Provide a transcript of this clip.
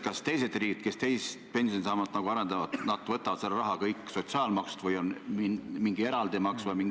Kas teised riigid, kes teist pensionisammast arendavad, võtavad selle raha kõik sotsiaalmaksust või on mingi eraldi maks?